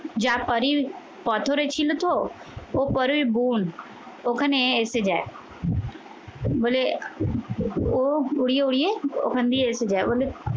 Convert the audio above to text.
যা পারির পাথরে ছিল তো, ও পরের বন ওখানে এসে যায়। বলে ও উড়িয়ে উড়িয়ে ওখান দিয়ে এসে যায়।